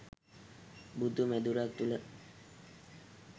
බුදු මැදුරක් තුළ